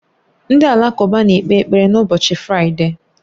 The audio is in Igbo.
Ndị Alakụba na-ekpe ekpere n'ụbọchị Fraịde